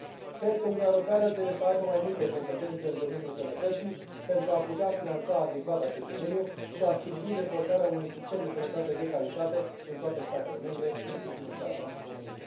Cred că Uniunea Europeană trebuie să aibă mai multe competențe în domeniul sănătății pentru a putea finanța adecvat acest domeniu și a sprijini dezvoltarea unui sistem de sănătate de calitate în toate statele membre, inclusiv în țara mea, România.